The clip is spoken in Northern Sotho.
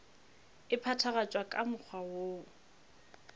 e phethagatšwa ka mokgwa woo